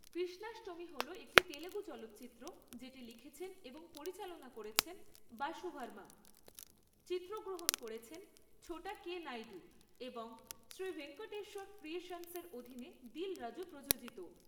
কৃষ্ণাষ্টমী' হল একটি তেলুগু চলচ্চিত্র যেটি লিখেছেন এবং পরিচালনা করেছেন বাসু ভার্মা, চিত্রগ্রহণ করেছেন ছোটা কে. নাইডু, এবং শ্রী ভেঙ্কটেশ্বর ক্রিয়েশন্সের অধীনে দিল রাজু প্রযোজিত।